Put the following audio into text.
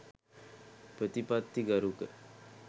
ප්‍රතිපත්තිගරුක